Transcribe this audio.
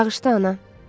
Bağışla, ana.